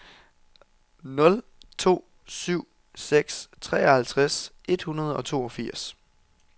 nul to syv seks treoghalvtreds et hundrede og toogfirs